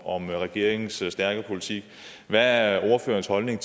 om regeringens stærke politik hvad er er ordførerens holdning